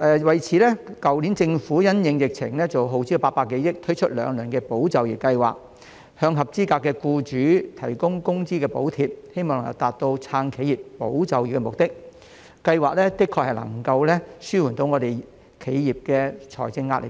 為此，去年政府因應疫情耗資800多億元推出兩輪"保就業"計劃，向合資格的僱主提供工資補貼，希望能達到"撐企業、保就業"的目的，計劃的確能夠紓緩企業的財政壓力，